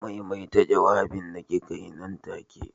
Maimaita jawabin da kikaa yi nan take.